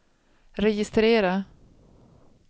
registrera